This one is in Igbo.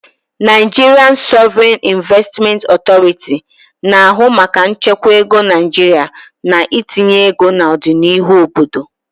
Nigerian Sovereign Investment Authority, na-ahụ maka nchekwa ego Naijiria na itinye ego na ọdịnihu obodo.